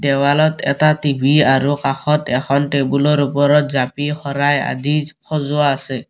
দেৱালত এটা টি_ভি আৰু কাষত এখন টেবুলৰ ওপৰত জাপি শৰাই আদি সজোৱা আছে।